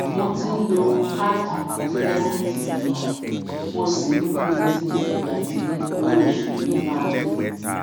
mo ti n lo kaadi kirẹditi mi mo sì n retí igba tí owo osu mi maa de